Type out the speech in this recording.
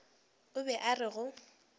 o be a re go